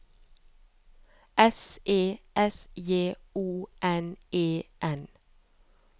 S E S J O N E N